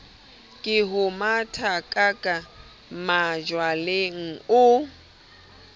ke ho mathakaka majwaleng o